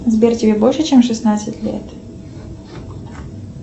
сбер тебе больше чем шестнадцать лет